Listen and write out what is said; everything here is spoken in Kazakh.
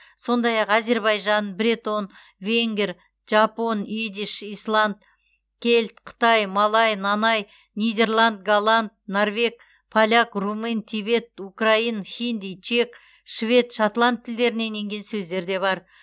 сондай ақ әзербайжан бретон венгер жапон идиш исланд кельт қытай малай нанай нидерланд голланд норвег поляк румын тибет украин хинди чек швед шотланд тілдерінен енген сөздер де бар